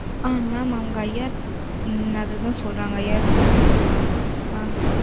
ஆ mam அவங்க IR ம் அது தான் சொல்றாங்க IRC ஆ